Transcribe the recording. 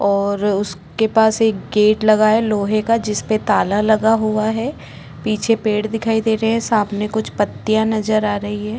और उसके पास एक गेट लगा है लोहे का जिस पे ताला लगा हुआ है पीछे पेड़ दिखाई दे रहे है साथ में कुछ पत्तियां दिखाई दे रही है।